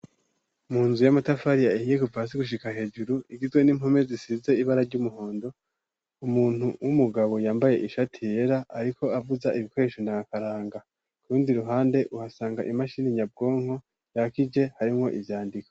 Mu nzu y'amatafari ahiye kuva hasi gushika hejuru igizwe n'impome zisize ibara ry'umuhondo ,umuntu w'umugabo yambaye ishati yera ariko avuza ibikoresho n'akaranga ku rundi ruhande uhasanga imashini nyabwonko yakije harimwo ivyandiko.